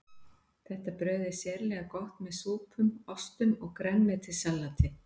Þetta brauð er sérlega gott með súpum, ostum og grænmetissalati.